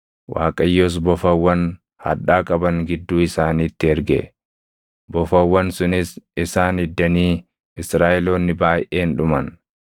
Waaqayyos bofawwan hadhaa qaban gidduu isaaniitti erge; bofawwan sunis isaan iddanii Israaʼeloonni baayʼeen dhuman.